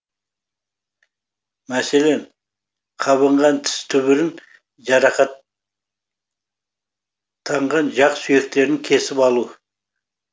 мәселен қабынған тіс түбірін жарақаттанған жақ сүйектерін кесіп алу